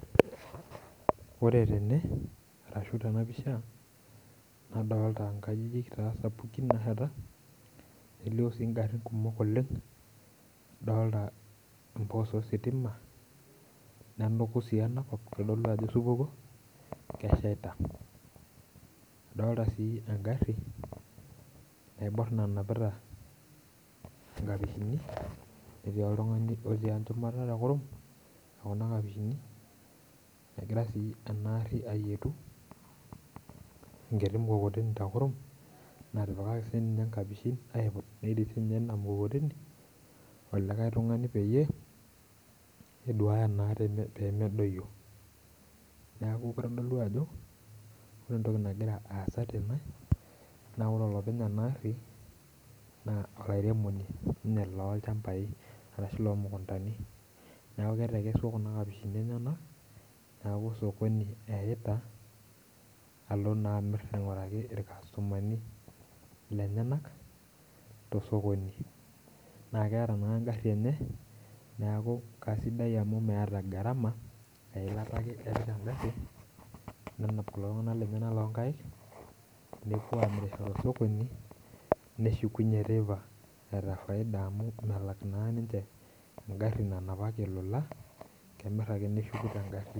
Ore tene arashu tena pisha nadolta inkajijik taa sapukin naasheta nelio sii ingarrin kumok oleng adolta empos ositima nenuku sii enakop kitodolua ajo osupuko keshaita adolta sii engarri naiborr nanapita inkapishini netii oltung'ani otii enchumata tekurum ekuna kapishini negira sii ena arri ayietu enkiti mukokoteni tekurum natipikaki sininye inkapishin aiput netii sininye ina mukokoteni olikae tung'ani peyie eduaya naa teme pemedoyio neku kitodolu ajo ore entoki nagira aasa tene ore olopeny ena garri naa olairemoni ninye lolchambai arashu lomukuntani neku ketekesua kuna kapishini enyenak niaku sokoni eyaita alo naa amirr aing'uraki irkastomani lenyenak tosokoni naa keeta naa engarri enye naku kasidai amu meeta gharama eilata ake epik engarri nenap kulo tung'anak lenyenak lonkaik nepuo amirisho tosokoni neshukunyie teipa eeta faida amu melak naa ninche engarri nanapaki olola kemirr ake neshuku tengarri.